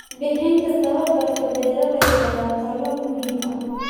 Bixinta tababarka beeralayda waa tallaabo muhiim ah.